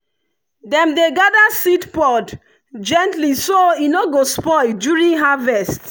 dem dey gather seed pod gently so e no go spoil during harvest.